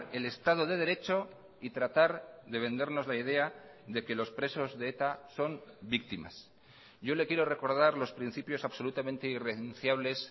el estado de derecho y tratar de vendernos la idea de que los presos de eta son víctimas yo le quiero recordar los principios absolutamente irrenunciables